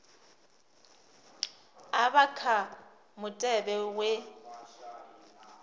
a vha kha mutevhe wa